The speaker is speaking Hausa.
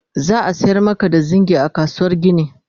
za'a sayar Maka da zingi a kasuwar gini